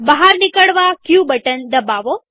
બહાર નિકળવા ક બટન દબાવો